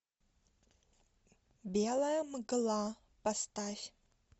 белая мгла поставь